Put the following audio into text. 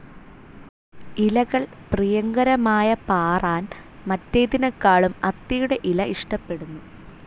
ഇലകൾ പ്രിയങ്കരമായ പാറാൻ മറ്റേതിനെക്കാളും അത്തിയുടെ ഇല ഇഷ്ടപ്പെടുന്നു.